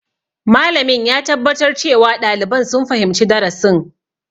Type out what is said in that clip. Malamin ya tabbatar cewa ɗaliban sun fahimci darasin.